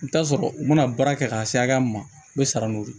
I bi taa sɔrɔ u bɛna baara kɛ ka se hakɛya min ma u be sara n'o ye